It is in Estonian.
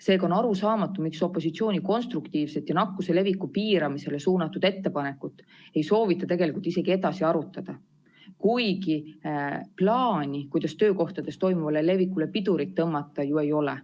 Seega on arusaamatu, miks opositsiooni konstruktiivset ja nakkuse leviku piiramisele suunatud ettepanekut ei soovita tegelikult isegi edasi arutada, kuigi plaani, kuidas töökohtades toimuvale levikule pidurit tõmmata, ju ei ole.